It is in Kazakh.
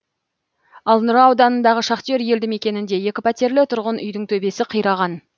ал нұра ауданындағы шахтер елді мекенінде екі пәтерлі тұрғын үйдің төбесі қираған